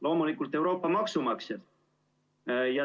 Loomulikult Euroopa maksumaksjad.